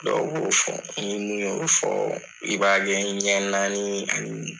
Dɔw b'o fɔ ni mun y'o fɔ , i b'a kɛ ɲɛ naani ani